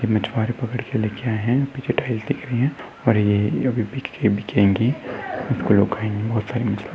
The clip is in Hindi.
मचवारी पकड़ के लेके आए है पीछे टाइल्स दिख रही है और ये अब बिकिगे --